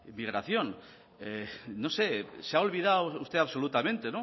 inmigración no sé se ha olvidado usted absolutamente el